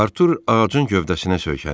Artur ağacın gövdəsinə söykəndi.